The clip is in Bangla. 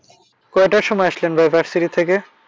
কয়টার সময় আসলেন ভাই varsity থেকে?